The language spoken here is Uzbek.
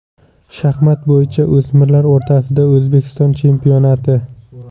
Shaxmat bo‘yicha o‘smirlar o‘rtasida O‘zbekiston chempionati.